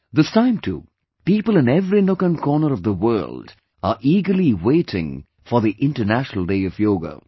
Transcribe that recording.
This time too, people in every nook and corner of the world are eagerly waiting for the International Day of Yoga